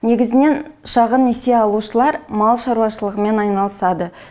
негізінен шағын несие алушылар мал шаруашылығымен айналысады